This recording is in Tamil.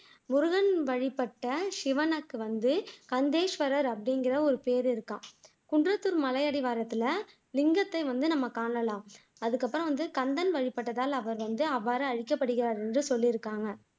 முருகன் வழிபட்ட சிவனுக்கு வந்து கந்தேஸ்வரர் அப்படிங்கிற ஒரு பேர் இருக்காம் குன்றத்தூர் மலையடிவாரத்துல லிங்கத்தை வந்து நம்ம காணலாம் அதுக்கப்புறம் வந்து கந்தன் வழிபட்டதால அவர் அவ்வாறு அழைக்கப்படுகிறார் அப்படின்னு சொல்லியிருக்காங்க